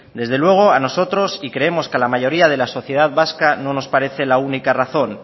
desde luego a nosotros y creemos que a la mayoría de la sociedad vasca no nos parece la única razón